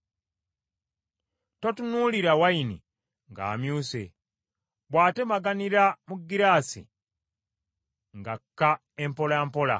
Totunuulira wayini ng’amyuse, bw’atemaganira mu ggiraasi ng’akka empolampola;